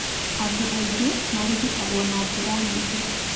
Andũ aingĩ marigitagwo na njĩra nyingĩ.